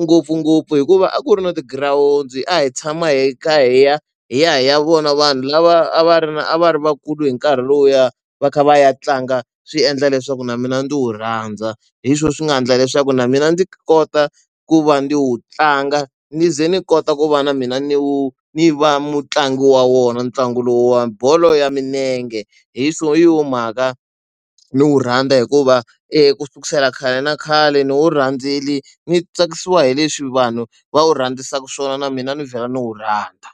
ngopfungopfu hikuva a ku ri no tigirawundi, a hi tshama hi kha hi ya hi ya hi ya vona vanhu lava a va ri na a va ri vakulu hi nkarhi lowuya, va kha va ya tlanga swi endla leswaku na mina ndzi wu rhandza. Hi swona swi nga endla leswaku na mina ndzi kota ku va ni wu tlanga ni ze ni kota ku va na mina ni wu ni va mutlangi wa wona ntlangu lowuwani bolo ya milenge. Hi hi yona mhaka ni wu rhandza hikuva ku susela khale na khale ni wu rhandzela ndzi tsakisiwa hi leswi vanhu va wu rhandzisaka swona na mina ni vhela ni wu rhandza.